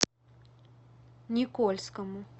никольскому